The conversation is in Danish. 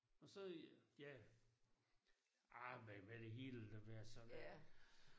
Og så ja ah men med det hele hvad har det så været